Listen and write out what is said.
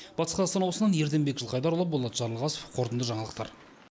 батыс қазақстан облысынан ерденбек жылқайдарұлы болат жарылғасов қорытынды жаңалықтар